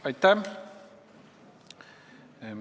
Aitäh!